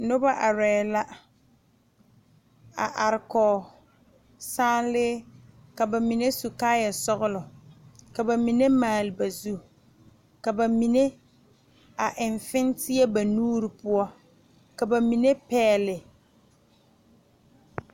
Noba arɛɛ la a are kɔge salee ka ba mine su kaayɛsɔglɔ ka ba mine maale ba zu ka ba mine a eŋ fenteɛ a ba nuuri poɔ ka ba mine pɛgle.